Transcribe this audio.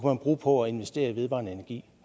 man bruge på at investere i vedvarende energi